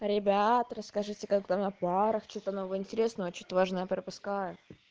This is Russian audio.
ребята расскажите как там на парах что-то новое и интересное что-то важное пропускаю